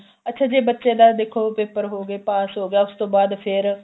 ਅੱਛਾ ਜੇ ਬੱਚੇ ਦਾ ਦੇਖੋ paper ਹੋ ਗਏ ਪਾਸ ਹੋ ਗਿਆ ਉਸ ਤੋਂ ਬਾਅਦ ਫੇਰ